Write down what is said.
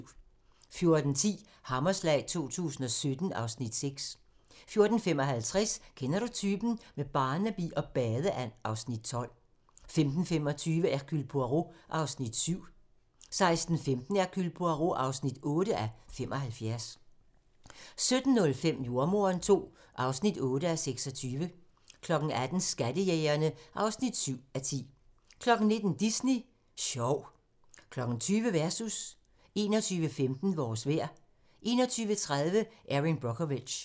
14:10: Hammerslag 2017 (Afs. 6) 14:55: Kender du typen? - med Barnaby og badeand (Afs. 12) 15:25: Hercule Poirot (7:75) 16:15: Hercule Poirot (8:75) 17:05: Jordemoderen II (8:26) 18:00: Skattejægerne (7:10) 19:00: Disney Sjov 20:00: Versus 21:15: Vores vejr 21:30: Erin Brockovich